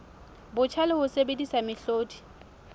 botjha le ho sebedisa mehlodi